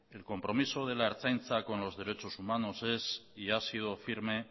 el compromiso de la ertzaintza con los derechos humanos es y ha sido firme